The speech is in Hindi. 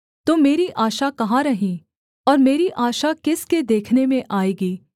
तो मेरी आशा कहाँ रही और मेरी आशा किसके देखने में आएगी